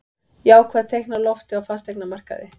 Jákvæð teikn á lofti á fasteignamarkaði